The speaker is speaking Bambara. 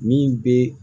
Min bɛ